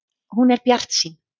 Hún er bjartsýn.